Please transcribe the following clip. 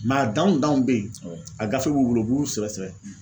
a danw danw bɛ yen, a gafe b'u bolo u b'u sɛgɛsɛgɛ.